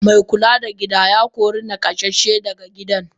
Me Kula da gida ya Korea nakasasshen daga gidan.